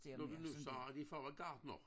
Når du siger at din far var gartner